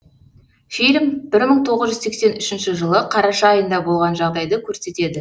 фильм бір мың тоғыз жүз сексен үшінші жылы қараша айында болған жағдайды көрсетеді